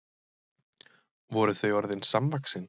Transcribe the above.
Voru þau orðin samvaxin?